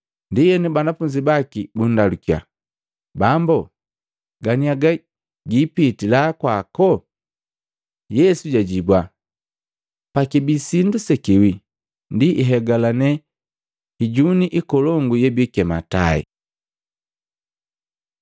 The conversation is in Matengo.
Ndienu banafunzi baki bundalukya, “Bambo ganiaga giipitila kwako?” Yesu jajibua “Pakibii sindu sekiwii ndi ihegalane hijuni ikolongu yebikema tai.”